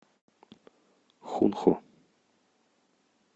хунху